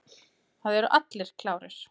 Það eru allir klárir.